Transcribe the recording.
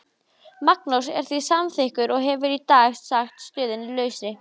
Magnús er því samþykkur og hefur í dag sagt stöðunni lausri.